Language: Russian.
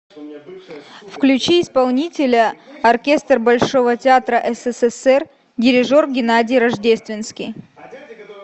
включи исполнителя оркестр большого театра ссср дирижер геннадий рождественский